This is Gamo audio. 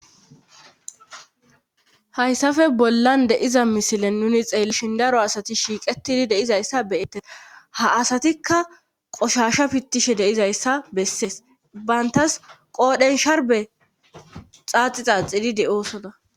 hayssafe bollan de'iza misile nuni xeelshindaro asati shiiqetidi deizayssa beyettes ha asatikka qoshasha pittishe deizayssa bessees bayntas qoodhensharbe xaaxi xaaxididi oosoda